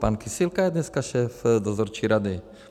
Pan Kysilka je dneska šéf dozorčí rady.